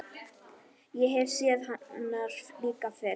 Ég hef séð hennar líka fyrr.